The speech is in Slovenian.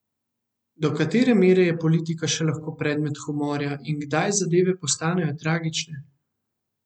Da katere mere je politika še lahko predmet humorja in kdaj zadeve postanejo tragične?